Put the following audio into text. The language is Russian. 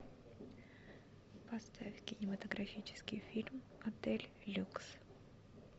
поставь кинематографический фильм отель люкс